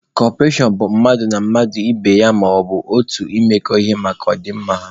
Kọperashọn bụ mmadụ na mmadụ ibe ya, maọbụ otu imekọ ihe maka ọ dị mma ha.